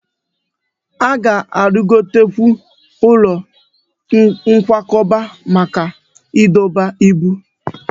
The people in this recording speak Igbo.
A ga-arụgotekwu ụlọ nkwakọba maka ịdọba ibu